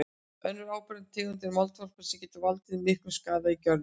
Önnur áberandi tegund er moldvarpa sem getur valdið miklum skaða í görðum.